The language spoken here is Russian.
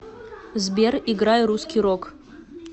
сбер играй русский рок